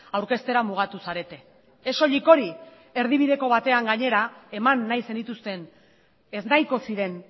aurkeztera mugatu zarete ez soilik hori erdibideko batean gainera eman nahi zenituzten ez nahiko ziren